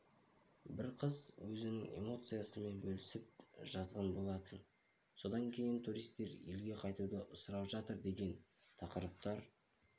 бір қыз өзінің эмоциясымен бөлісіп жазған болатын содан кейін турситер елге қайтуды сұрап жатыр деген тақырыптар